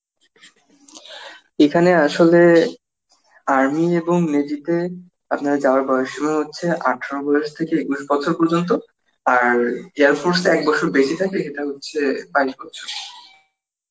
এখানে আসলে army, এবং navy তে আপনার যাওয়ার বয়েস সীমা হচ্ছে আঠেরো বয়স থেকে একুশ বয়স পর্যন্ত আর air force এ একবছর বেশি থাকে ইটা হচ্ছে বাইশ বছর